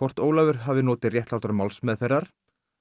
hvort Ólafur hafi notið réttlátrar málsmeðferðar